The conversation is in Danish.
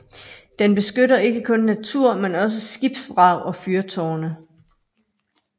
Den beskytter ikke kun natur men også skibsvrag og fyrtårne